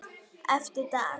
Eftir dag.